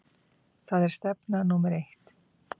Það er stefna númer eitt.